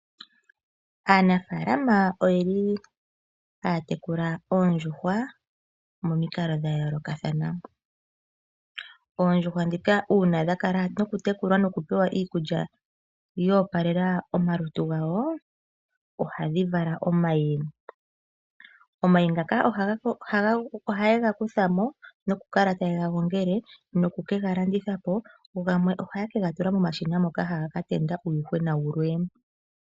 Aanafalama oyeli haya tekula oondjuhwa mominkalo dhayoloka thana, oondjuhwa dhika una dhakala noku tekulwa noku pewa iikulya yopalela omalutu gawo ohadhi vala omayi, omayi ngaka oha yegakuthamo nokukala tayegagongele noku kengalandithapo gamwe oha kegatula momashina moka hagakatendulwa uuyuhwena wumwe.